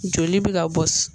Joli bɛ ka bɔ